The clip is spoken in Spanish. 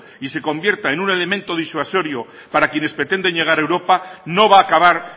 y se convierta en un elemento disuasorio para quienes pretenden llegar a europa no va a acabar